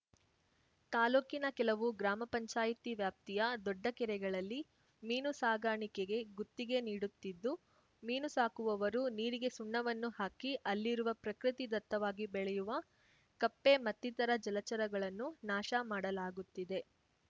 ತಾಲೂಕಿನ ಕೆಲವು ಗ್ರಾಮ ಪಂಚಾಯತಿ ವ್ಯಾಪ್ತಿಯ ದೊಡ್ಡ ಕೆರೆಗಳಲ್ಲಿ ಮೀನು ಸಾಕಾಣಿಕೆಗೆ ಗುತ್ತಿಗೆ ನೀಡುತ್ತಿದ್ದು ಮೀನು ಸಾಕುವವರು ನೀರಿಗೆ ಸುಣ್ಣವನ್ನು ಹಾಕಿ ಅಲ್ಲಿರುವ ಪ್ರಕೃತಿದತ್ತವಾಗಿ ಬೆಳೆಯುವ ಕಪ್ಪೆ ಮತ್ತಿತರ ಜಲಚರಗಳನ್ನು ನಾಶ ಮಾಡಲಾಗುತ್ತಿದೆ